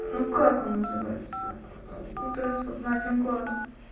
ну как он называется ну этот вот на один глаз